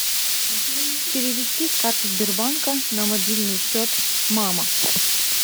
перевести с карты сбербанка на мобильный счет мама